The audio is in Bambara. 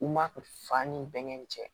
U ma fa ni bɛnkɛ nin cɛ